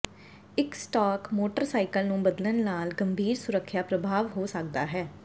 ਇੱਕ stock motorcycle ਨੂੰ ਬਦਲਣ ਨਾਲ ਗੰਭੀਰ ਸੁਰੱਖਿਆ ਪ੍ਰਭਾਵ ਹੋ ਸਕਦਾ ਹੈ